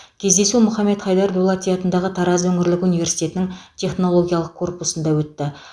кездесу мұхамед хайдар дулати атындағы тараз өңірлік университетінің технологиялық корпусында өтті